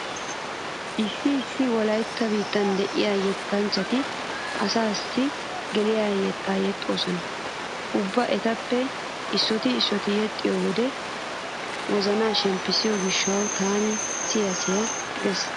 Issi issi wolaytta biittan diya yettanchchati asaassi geliya yettaa yexxoosona. Ubba etappe issooti issooti yexxiyode wozanaa shemppissiyo gishshawu tana siya siya gees.